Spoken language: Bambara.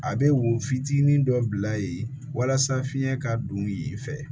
A bɛ wo fitinin dɔ bila yen walasa fiɲɛ ka don yen fɛ